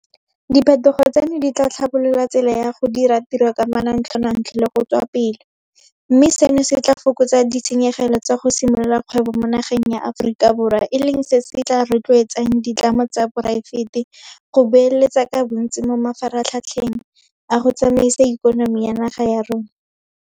Diphetogo tseno di tla tlhabolola tsela ya go dira tiro ka manontlhotlho le go tswa pele, mme seno se tla fokotsa ditshenyegelo tsa go simolola kgwebo mo nageng ya Aforika Borwa, e leng se se tla rotloetsang ditlamo tsa poraefete go beeletsa ka bontsi mo mafaratlhatlheng a go tsamaisa ikonomi ya naga ya rona.